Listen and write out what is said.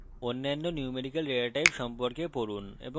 অন্যান্য numerical data types সম্পর্কে পড়ুন এবং